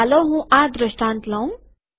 તો ચાલો હું આ દ્રંષ્ટાત લઉં